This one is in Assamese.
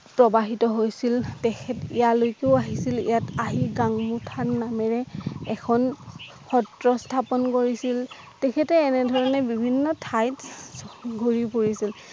প্ৰবাহিত হৈছিল তেখতেৰ লৈকেও আহিছিল ইয়াত আহি গাংগু স্তান নামেৰে এখন সএ স্হাপন কৰিছিল তেখেতে এনেধৰণে বিভিন্ন ঠাইত ঘূৰি উৰিছিল